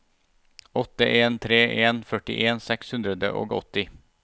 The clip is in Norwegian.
åtte en tre en førtien seks hundre og åtti